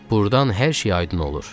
Burdan hər şey aydın olur.